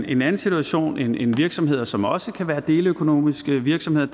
en anden situation end virksomheder som også kan være deleøkonomiske virksomheder